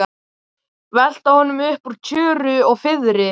Velta honum upp úr tjöru og fiðri!